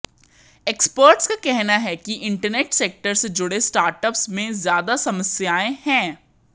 experts का कहना है कि इंटरनेट सेक्टर से जुड़े स्टार्टअप्स में ज्यादा समस्याएं हैं